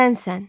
Sənsən.